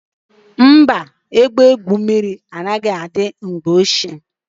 Mba, ebe igwu mmiri anaghị adị n'ụlọ nkwari mgbe ochie.